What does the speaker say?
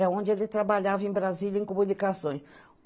É onde ele trabalhava em Brasília, em comunicações.